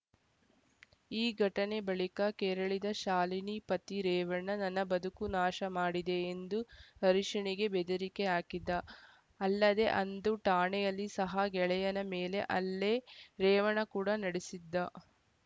ಈ ಘಟನೆ ಬಳಿಕ ಕೆರಳಿದ ಶಾಲಿನಿ ಪತಿ ರೇವಣ್ಣ ನನ್ನ ಬದುಕು ನಾಶ ಮಾಡಿದೆ ಎಂದು ಹರೀಶ್‌ನಿಗೆ ಬೆದರಿಕೆ ಹಾಕಿದ್ದ ಅಲ್ಲದೆ ಅಂದು ಠಾಣೆಯಲ್ಲಿ ಸಹ ಗೆಳೆಯನ ಮೇಲೆ ಹಲ್ಲೆ ರೇವಣ್ಣ ಕೂಡ ನಡೆಸಿದ್ದ